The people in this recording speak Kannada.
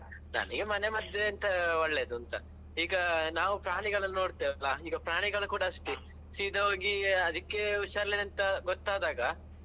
ನನಿಗೆ ಮನೆ ಮದ್ದೆಂತ ಒಳ್ಳೇದು ಅಂತ. ಈಗ ನಾವ್ ಪ್ರಾಣಿಗಳನ್ನು ನೋಡ್ತೇವೆ ಅಲ್ವಾ ಈಗ ಪ್ರಾಣಿಗಳು ಕೂಡ ಅಷ್ಟೇ ಸೀದಾ ಹೋಗಿ ಅದಿಕ್ಕೆ ಹುಷಾರಿಲ್ಲ ಅಂತ ಗೊತ್ತಾದಾಗ.